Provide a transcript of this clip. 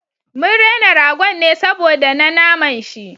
Mun rena ragon ne saboda na naman shi